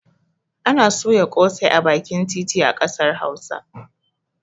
Ana soya ƙosai a bakin titi a ƙasar hausa